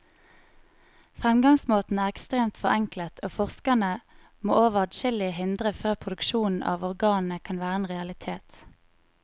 Fremgangsmåten er ekstremt forenklet, og forskerne må over adskillige hindre før produksjon av organene kan være en realitet.